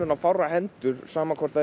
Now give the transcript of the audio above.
á fárra hendur sama hvort það